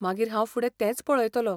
मागीर हांव फुडें तेंच पळयतलों.